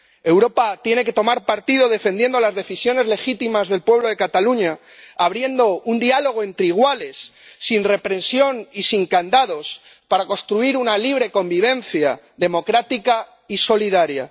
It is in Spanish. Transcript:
Europa tiene que tomar partido, defendiendo a las decisiones legítimas del pueblo de Cataluña, abriendo un diálogo entre iguales, sin represión y sin candados, para construir una libre convivencia, democrática y solidaria.